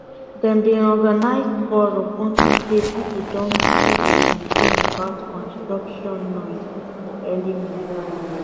dem been organize forum unto say people don too dey complain about construction noise for early morning